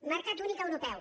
mercat únic europeu